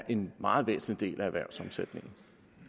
en meget væsentlig del af erhvervssammensætningen